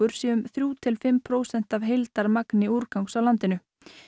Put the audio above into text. sé um þrjú til fimm prósent af heildarmagni úrgangs á landinu